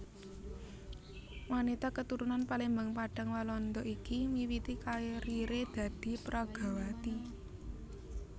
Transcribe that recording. Wanita keturunan Palembang Padang Walanda iki miwiti karieré dadi peragawati